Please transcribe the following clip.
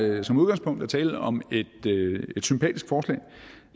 der som udgangspunkt er tale om et sympatisk forslag